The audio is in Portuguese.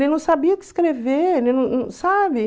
Ele não sabia o que escrever. sabe?